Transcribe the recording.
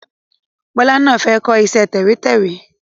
Bọlá náà fẹ́ kọ iṣẹ́ tẹ̀wẹ́tẹ́wẹ́